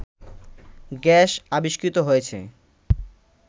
gas আবিষ্কৃত হয়েছে